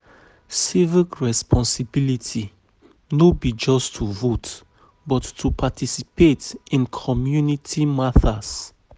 Civic um responsibility no be just to vote, but to participate in community matters.